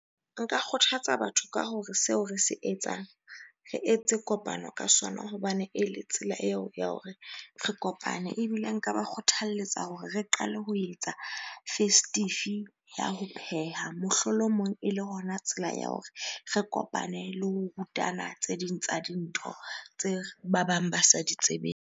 Nka kgothatsa batho ka hore seo re se etsang, re etse kopano ka sona hobane e le tsela eo ya hore re kopane. Ebile nka ba kgothaletsa hore re qale ho e tsa festive ya ho pheha, mohlolomong ele hona tsela ya hore re kopane le ho rutana tse ding tsa dintho tse ba bang ba sa di tsebeng.